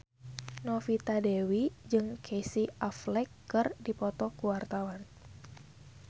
Novita Dewi jeung Casey Affleck keur dipoto ku wartawan